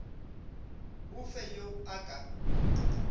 o fe yo a ka